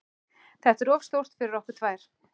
Þetta er of stórt fyrir okkur tvær.